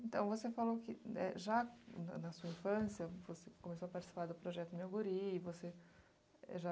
Então, você falou que, eh, já na na sua infância você começou a participar do projeto Meu Guri, você é já